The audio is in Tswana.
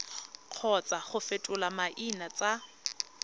kgotsa go fetola maina tsa